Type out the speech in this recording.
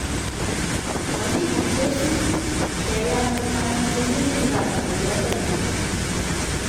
Makiguitosi, keyan anan kenyoji gaat ng'olyondoni.